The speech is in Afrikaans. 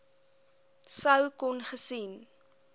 sou kon gesien